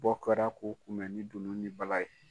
Bɔ kɛra k'u kunbɛ ni dunun ni bala ye!